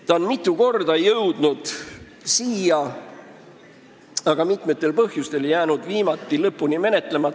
Ta on mitu korda siia jõudnud, aga jäänud mitmel põhjusel lõpuni menetlemata.